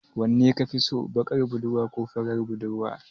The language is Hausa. Wanne kafi so, baƙar budurwa ko farar budurwa?